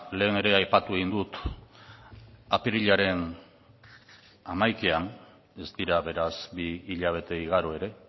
lehen ere aipatu egin dut apirilaren hamaikaan ez dira beraz bi hilabete igaro ere